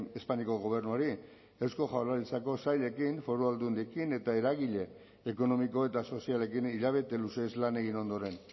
espainiako gobernuari eusko jaurlaritzako sailekin foru aldundiekin eta eragile ekonomiko eta sozialekin hilabete luzez lan egin ondoren